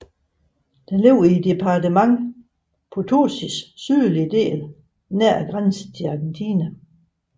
Den ligger i departementet Potosís sydlige del nær grænsen til Argentina